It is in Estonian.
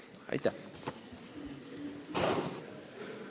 Aitäh!